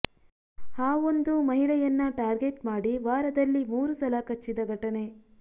ಹಾವೊಂದು ಮಹಿಳೆಯನ್ನ ಟಾರ್ಗೆಟ್ ಮಾಡಿ ವಾರದಲ್ಲಿ ಮೂರು ಸಲ ಕಚ್ಚಿದ ಘಟನೆ